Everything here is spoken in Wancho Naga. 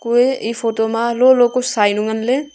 kuye e photo ma lolo ku sainyu ngan le.